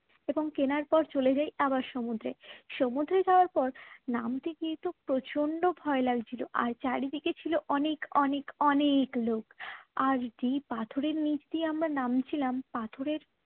এবং কেনার পর চলে যাই আবার সমুদ্রে সমুদ্রে যাবার পর নামতে কিন্তু প্রচণ্ড ভয় লাগছিল আর চারিদিকে ছিল অনেক অনেক অনেক লোক আর যেই পাথরের নিচ দিয়ে আমরা নামছিলাম পাথরের